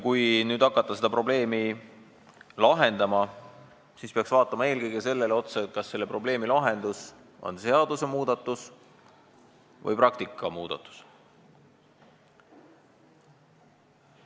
Kui nüüd hakata seda probleemi lahendama, siis peaks vaatama eelkõige otsa sellele, kas selle probleemi lahendus on seadusmuudatus või praktikamuudatus.